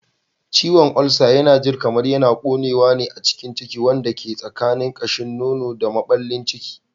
Ciwon ulcer yana jin kamar yana ƙonewa a cikin ciki, wanda ke tsakanin ƙashin nono da maɓallin ciki.